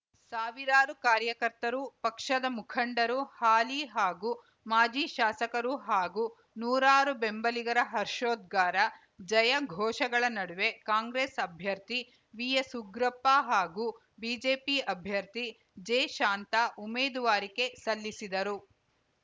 ಸಾವಿರಾರು ಕಾರ್ಯಕರ್ತರು ಪಕ್ಷದ ಮುಖಂಡರು ಹಾಲಿ ಹಾಗೂ ಮಾಜಿ ಶಾಸಕರು ಹಾಗೂ ನೂರಾರು ಬೆಂಬಲಿಗರ ಹರ್ಷೋದ್ಗಾರ ಜಯ ಘೋಷಗಳ ನಡುವೆ ಕಾಂಗ್ರೆಸ್‌ ಅಭ್ಯರ್ಥಿ ವಿಎಸ್‌ಉಗ್ರಪ್ಪ ಹಾಗೂ ಬಿಜೆಪಿ ಅಭ್ಯರ್ಥಿ ಜೆಶಾಂತಾ ಉಮೇದುವಾರಿಕೆ ಸಲ್ಲಿಸಿದರು